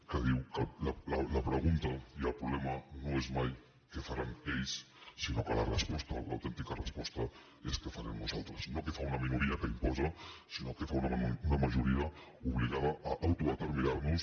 que diu que la pregunta i el problema no és mai què faran ells sinó que la resposta l’autèntica resposta és què farem nosaltres no què fa una minoria que imposa sinó què fa una majoria obligada a autodeterminarnos